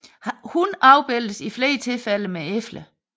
Hun afbildes i flere tilfælde med æbler